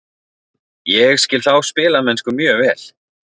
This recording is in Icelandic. Ég skil þá spilamennsku mjög vel.